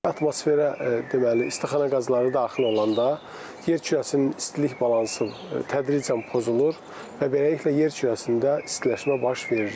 Atmosferə deməli istixana qazları daxil olanda yer kürəsinin istilik balansı tədricən pozulur və beləliklə yer kürəsində istiləşmə baş verir.